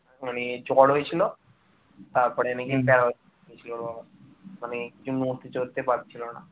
তারপরে নাকি বেনারস গিয়েছিল মানে ওর বাবা নড়তে চড়তে পারছিল না